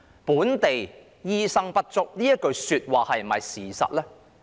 "本地醫生不足"這句話是否事實呢？